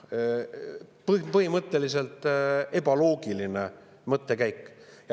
Põhimõtteliselt on see ebaloogiline mõttekäik.